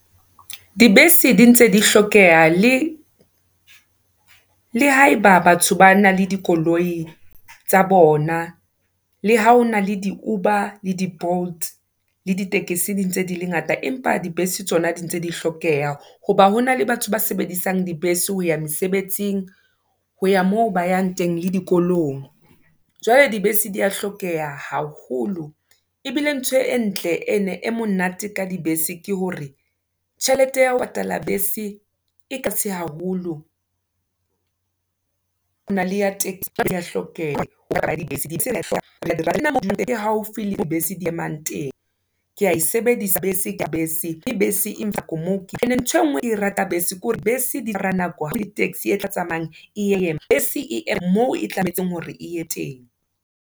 Di bese di ntse di hlokeha, le le haeba batho ba nang le dikoloi, tsa bona, le ha hona le di uba le di bolt, le di tekesi di ntse dile ngata, empa di bese tsona di ntse di hlokeha, hoba hona le batho ba sebedisang di bese ho ya mesebetsing, ho ya moo ba yang teng, le dikolong. Jwale di bese di ya hlokeha haholo, ebile ntho e ntle e ne e monate ka di bese, ke hore tjhelete ya ho patala bese, e tlase haholo, hona le ya taxi, hlokeha? Di haufi le moo di bese di emang teng. Ee, ke ya e sebedisa bese ke bese, ke bese Imphihlisa moo ke yang teng, ene ntho engwe eo ke ratang ka bese, ke hore bese di tsamaya ka nako, ha e tshwane le taxi etla tsamayang e ema, bese e ya moo e tshwanetseng hore e teng.